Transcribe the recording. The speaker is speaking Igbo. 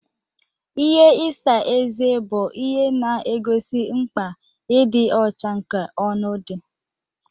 Ihe isa eze bụ ihe na-egosi mkpa ịdị ọcha nke ọnụ dị.